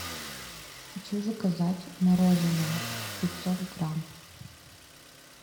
хочу заказать мороженое пятьсот грамм